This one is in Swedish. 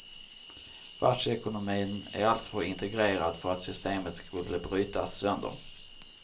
Världsekonomin är alltför integrerad för att systemet skulle brytas sönder.